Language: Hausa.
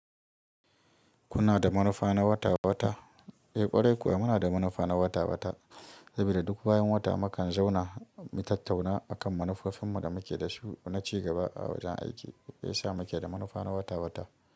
Kuna da manufa na wata-wata? Eh ƙwarai kuwa muna da manufa na wata-wata saboda duk bayan wata mukan zauna mu tattauna akan manufofin mu da muke da su na ci gaba a wajen aiki, ya sa muke da manufa na wata-wata.